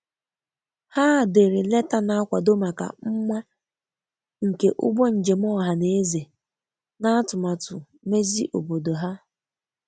Ha dere leta na-akwado maka mma nke ụgbọ njem ọha na-eze n'atụmatụ mezi obodo ha.